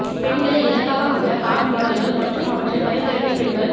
பெண்களை இலக்காக கொண்ட கார் மொடல்கள் மற்றும் அவற்றை பரிந்துரைக்கும் பெண்கள்